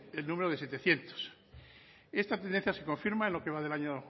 el número de setecientos esta tendencia se confirma en lo que va del año